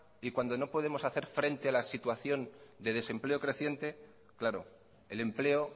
y cuando no podemos hacer frente a la situación de desempleo creciente claro el empleo